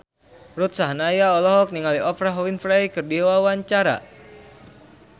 Ruth Sahanaya olohok ningali Oprah Winfrey keur diwawancara